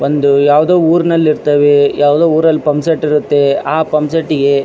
ಒಂದು ಯಾವುದೊ ಊರಿನಲ್ಲಿ ಇರ್ತವೆ ಯಾವುದೊ ಊರಿನಲ್ಲಿ ಪಂಪ್ಸೆಟ್ ಇರುತ್ತೆ ಆ ಪಂಪ್ಸೆಟ್ ಗೆ --